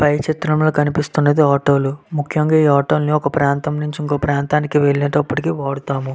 పై చిత్రం లో కనిపిస్తున్నది ఆటో లు ముక్యంగా ఈ ఆటోలను ఒక ప్రాంతం నుండి ఇంకో ప్రాంతం వెల్లేటప్పుడికి వాడుతారు.